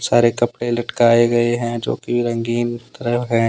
सारे कपड़े लटकाए गए हैं जो की रंगीन कलर है।